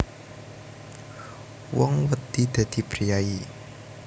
Wong wedi dadi priyayi